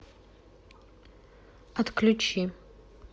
отключи